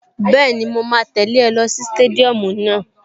Bẹ́ẹ̀ni, mo máa tẹ̀lẹ́ ọ lọ sí stadium náà